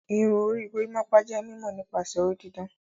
Irun orí gorimopa jé mímó nípasẹ orí didán.